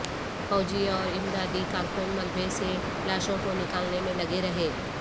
فوجی اور امدادی کارکن ملبے سے لاشوں کو نکالنے میں لگے رہے